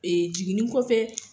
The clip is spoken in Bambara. Ee jiginin kɔfɛ